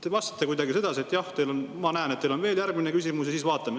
Te vastasite kuidagi sedasi, et jah, ma näen, et teil on veel järgmine küsimus, ja siis vaatame.